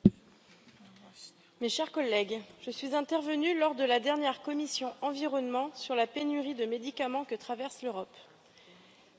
Madame la Présidente, mes chers collègues, je suis intervenue lors de la dernière commission Environnement sur la pénurie de médicaments que traverse l'Europe.